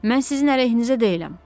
Mən sizin əleyhinizə deyiləm.